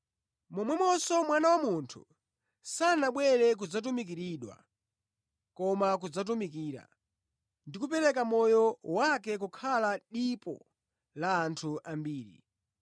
Momwenso Mwana wa Munthu sanabwere kudzatumikiridwa, koma kudzatumikira, ndi kupereka moyo wake kukhala dipo la anthu ambiri.”